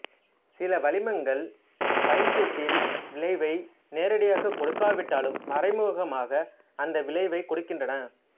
சில வளிமங்கள் பைங்குடில் விளைவை நேரடியாகக் கொடுக்கா விட்டாலும் மறைமுகமாக அந்த விளைவைக் கொடுக்கின்றன